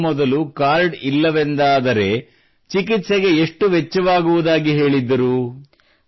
ವೈದ್ಯರು ಮೊದಲು ಕಾರ್ಡ್ ಇಲ್ಲವೆಂದಾದರೆ ಚಿಕಿತ್ಸೆಗೆ ಎಷ್ಟು ವೆಚ್ಚವಾಗುವುದಾಗಿ ಹೇಳಿದ್ದರು